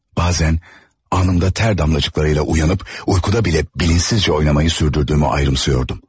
Bazən anında ter damlacıklarıyla uyanıp, uykuda bilə bilinçsizcə oynamayı sürdürdüğümü ayrımsıyordum.